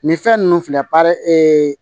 Nin fɛn ninnu filɛ ee